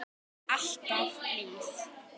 Alltaf blíð.